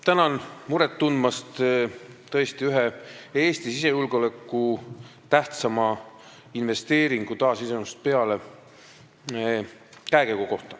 Tänan muret tundmast Eesti taasiseseisvumisest peale sisejulgeoleku ühe tähtsama investeeringu käekäigu pärast!